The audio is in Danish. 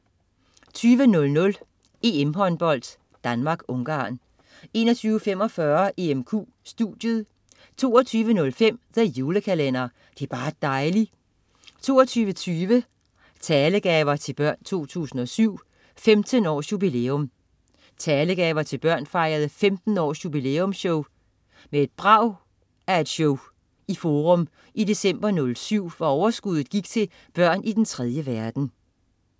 20.00 EM-Håndbold: Danmark-Ungarn 21.45 EMQ studiet 22.05 The Julekalender. Det er bar' dejli' 22.20 Talegaver til Børn 2007. 15 års jubilæum. Talegaver til Børn fejrede 15 års jubilæumsshow med et brag af et show i Forum i december '07, hvor overskuddet gik til børn i den 3. verden